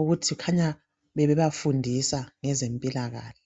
ukuthi kukhanya bebeba fundisa ngezempilakahle.